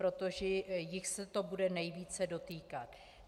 Protože jich se to bude nejvíce dotýkat.